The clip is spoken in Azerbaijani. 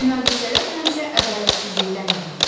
Münaqişələr həmişə ədalətsizlikdən yaranır.